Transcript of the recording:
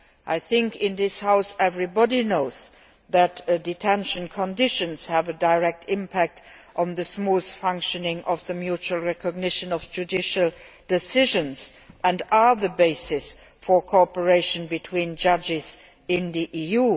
Everybody in this House knows that detention conditions have a direct impact on the smooth functioning of the mutual recognition of judicial decisions and are the basis for cooperation between judges in the EU.